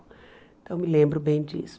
Então, me lembro bem disso.